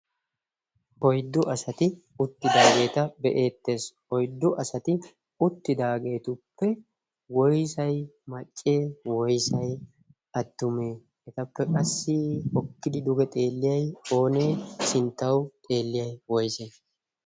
oyddu asati uttidaageeta be'eettees. oyddu asati uttidaageetuppe woysay maccee? woysay attumee etappe qassi okkidi duge xeelliyay oonee sinttau xeelliyay woyse?